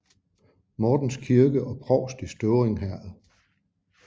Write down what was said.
Mortens Kirke og Provst i Støvring Herred